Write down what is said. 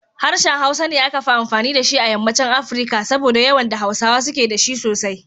Harshen Hausa ne akafi amfani da shi a yammaci Afirika. saboda yawan da Hausawa suke da shi sosai.